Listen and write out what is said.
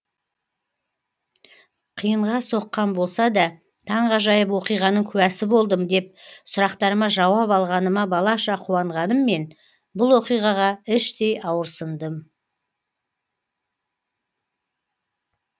қиынға соққан болсада таңғажайып оқиғаның куәсі болдым деп сұрақтарыма жауап алғаныма балаша қуанғаныммен бұл оқиғаға іштей ауырсындым